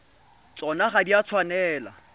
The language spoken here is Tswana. tsona ga di a tshwanela